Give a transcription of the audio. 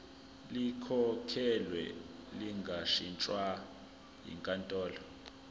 likhokhelwe lingashintshwa yinkantolo